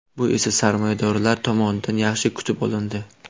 Bu esa sarmoyadorlar tomonidan yaxshi kutib olindi.